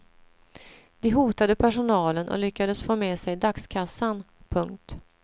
De hotade personalen och lyckades få med sig dagskassan. punkt